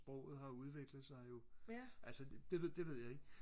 sproget har udviklet sig jo altså det det ved jeg ikke